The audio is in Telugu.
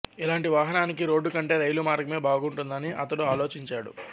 ఇలాంటి వాహనానికి రోడ్డు కంటే రైలు మార్గమే బాగుంటుందని అతడు ఆలోచించాడు